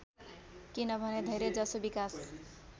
किनभने धेरैजसो विकास